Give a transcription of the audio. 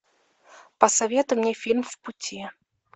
посоветуй мне фильм в пути